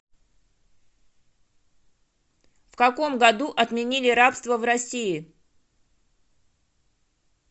в каком году отменили рабство в россии